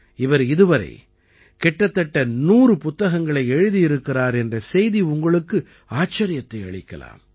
இவர் இதுவரை கிட்டத்தட்ட 100 புத்தகங்களை எழுதியிருக்கிறார் என்ற செய்தி உங்களுக்கு ஆச்சரியத்தை அளிக்கலாம்